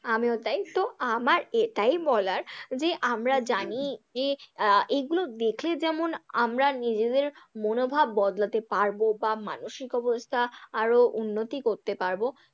আমিও তাই, তো আমার এটাই বলার যে আমরা জানি যে আহ এগুলো দেখলে যেমন আমরা নিজেদের মনোভাব বদলাতে পারবো বা মানসিক অবস্থা আরও উন্নতি করতে পারবো।